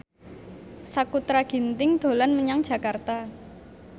Sakutra Ginting dolan menyang Jakarta